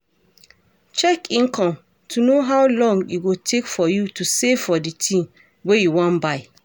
Check income to know how long e go take for you to save for di thing wey you wan buy